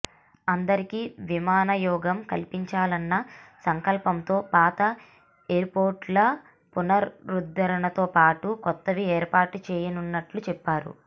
అందరికీ విమానయోగం కల్పించాలన్న సంకల్పంతో పాత ఎయిర్పోర్టుల పునరుద్ధరణతోపాటు కొత్తవి ఏర్పాటు చేయనున్నట్లు చెప్పారు